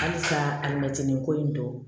Halisa alimɛtinin ko in dɔn